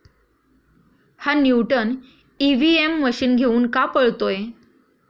हा 'Newton' EVM machine घेऊन का पळतोय?